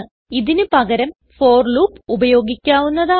ഇതിന് പകരം for loop ഉപയോഗിക്കാവുന്നതാണ്